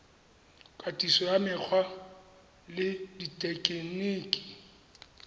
katiso ya mekgwa le dithekeniki